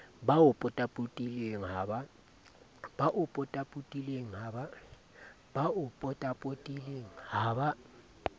ba o potapotileng ha ba